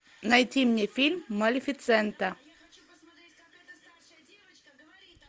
найти мне фильм малефисента